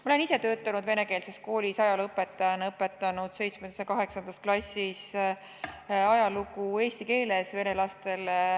Ma olen ise töötanud venekeelses koolis ajalooõpetajana, õpetanud 7. ja 8. klassis ajalugu eesti keeles vene lastele.